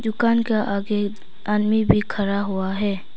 दुकान के आगे आदमी भी खड़ा हुआ है।